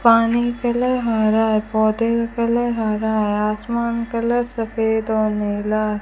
पानी का कलर हरा है पौधे का कलर हरा है आसमान कलर सफेद और नीला --